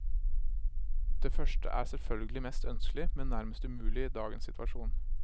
Det første er selvfølgelig mest ønskelig, men nærmest umulig i dagens situasjon.